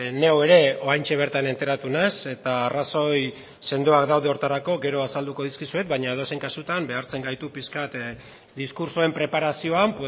neu ere oraintxe bertan enteratu naiz eta arrazoi sendoak daude horretarako gero azalduko dizkizuet baina edozein kasutan behartzen gaitu pixka bat diskurtsoen preparazioan